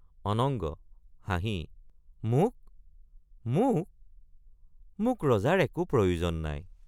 অনঙ্গ— হাঁহি মোক মোক মোক ৰজাৰ একো প্ৰয়োজন নাই।